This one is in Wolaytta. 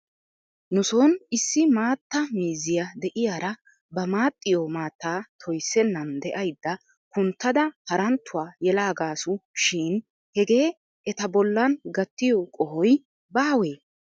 Nuson issi maatta miizziyaa de'iyaara ba maaxxiyoo maattaa toyssennan de'aydda kunttada haranttuwaa yelaagaasu shin hegee eta bollan gattiyoo qohoy baawee?